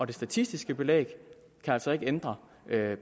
det statistiske belæg kan altså ikke ændre